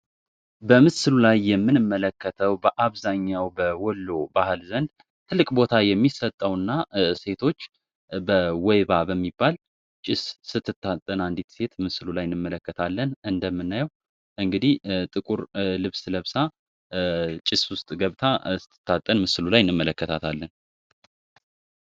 በምስሉ ላይ የምንመለከተው በአብዛኛው በወሎ ባህል ዘንድ ትልቅ ቦታ የሚሰጠው እና ሴቶች በወይባ በሚባል ጭስ ስትታጠን አንዲት ሴት ምስሉ ላይ እንመለከታለን እንደምናየው እንግዲህ ጥቁር ልብስ ለብሳ ጭስ ውስጥ ገብታ ስትታጠን ምስሉ ላይ እንመለከታታለን።